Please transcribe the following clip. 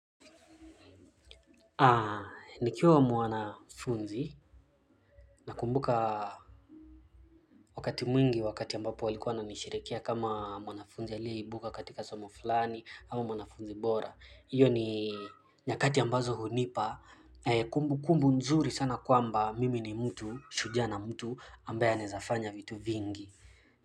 Haa, nikiwa mwanafunzi nakumbuka wakati mwingi wakati ambapo walikuwa wananisherehekea kama mwanafunzi aliyeibuka katika somo fulani au mwanafunzi bora. Iyo ni nyakati ambazo hunipa kumbu kumbu nzuri sana kwamba mimi ni mtu, shujaa na mtu ambaye anaezafanya vitu vingi.